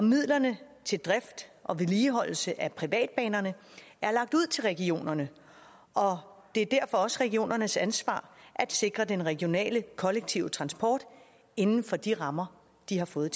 midlerne til drift og vedligeholdelse af privatbanerne er lagt ud til regionerne og det er derfor også regionernes ansvar at sikre den regionale kollektive transport inden for de rammer de har fået